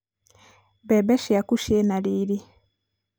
mbembe ciaku ciĩ na rĩrĩ